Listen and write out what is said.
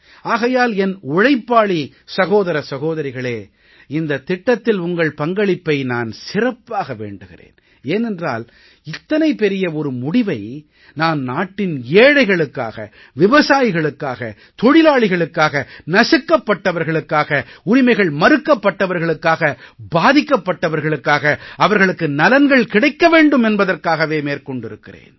ஆகையால் என் உழைப்பாளி சகோதர சகோதரிகளே இந்தத் திட்டத்தில் உங்கள் பங்களிப்பை நான் சிறப்பாக வேண்டுகிறேன் ஏனென்றால் இத்தனை பெரிய ஒரு முடிவை நான் நாட்டின் ஏழைகளுக்காக விவசாயிகளுக்காக தொழிலாளிகளுக்காக நசுக்கபட்டவர்களுக்காக உரிமைகள் மறுக்கப்பட்டவர்களுக்காக பாதிக்கப்பட்டவர்களுக்காக அவர்களுக்கு நலன்கள் கிடைக்க வேண்டும் என்பதற்காகவே மேற்கொண்டிருக்கிறேன்